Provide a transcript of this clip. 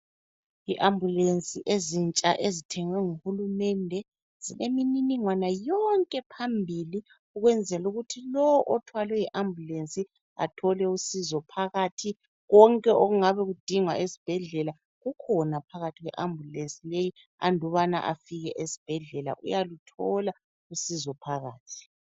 IAmbulensi ezintsha ezithengwe nguhulumende zilemininingwana yonke phambili ukwenzela ukuthi lo othwalwe yiAmbulensi athole usizo phakathi. Konke okungabe kudingwa esibhedlela kukhona phakathi kweambulensi leyi andubana afike esibhedlela uyaluthola usizo phakathi.